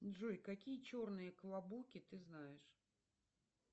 джой какие черные клабуки ты знаешь